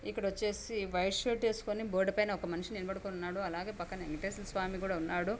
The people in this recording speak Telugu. ఇక్కడ వచ్చేసి వైట్ షర్ట్ వేసుకొని బోర్డు పైన ఒక మనిషి నిలబడి ఉన్నాడు అలాగే పక్కన వేంకటేశ్వర స్వామి కూడా ఉన్నాడు.